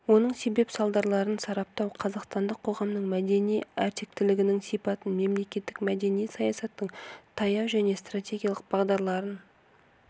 оның себеп-салдарларын сараптау қазақстандық қоғамның мәдени әртектілігінің сипатын мемлекеттік мәдени саясаттың таяу жэне стратегиялық бағдарларын